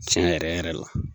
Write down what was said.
Tiɲɛ yɛrɛ yɛrɛ la.